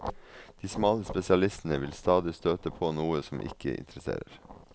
De smale spesialistene vil stadig støte på noe som ikke interesserer.